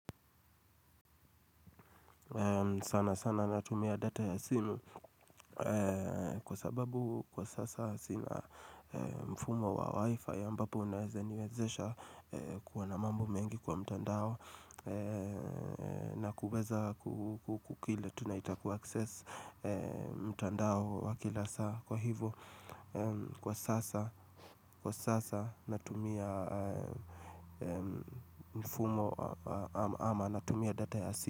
Sana sana natumia data ya simu kwa sababu kwa sasa sina mfumo wa wifi ambapo unaeza niwezesha kuwa na mambo mengi kwa mtandao na kuweza kukukile tunaita kuaccess mtandao wa kila saa kwa hivo Kwa sasa natumia mfumo ama natumia data ya simu.